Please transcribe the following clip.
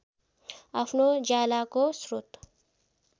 आफ्नो उज्यालोको स्रोत